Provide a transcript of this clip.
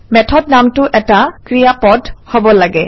method নামটো এটা ক্ৰিয়াপদো হব লাগে